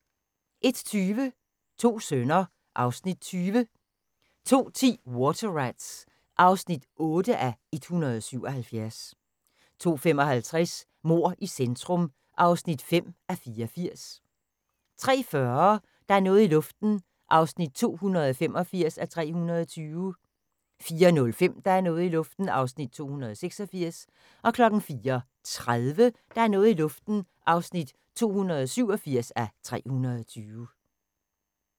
01:20: To sønner (Afs. 20) 02:10: Water Rats (8:177) 02:55: Mord i centrum (5:84) 03:40: Der er noget i luften (285:320) 04:05: Der er noget i luften (286:320) 04:30: Der er noget i luften (287:320)